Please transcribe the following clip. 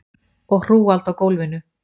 Og hrúgald á gólfinu.